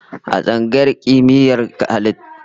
A tsangayar Kimiyyar halittu akwai sashen ilmin dabbobi